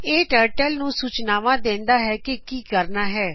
ਇਹ ਟਰਟਲ ਨੂੰ ਸੂਚਨਾਵਾਂ ਦਿੰਦਾਂ ਹੈ ਕਿ ਕੀ ਕਰਨਾ ਹੈ